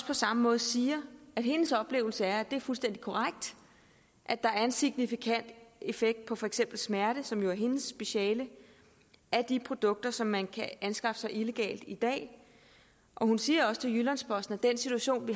på samme måde siger at hendes oplevelse er at det er fuldstændig korrekt at der er en signifikant effekt på for eksempel smerte som jo er hendes speciale af de produkter som man kan skaffe sig illegalt i dag hun siger også til jyllands posten at den situation